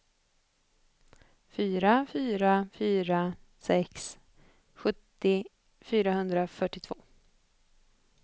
fyra fyra fyra sex sjuttio fyrahundrafyrtiotvå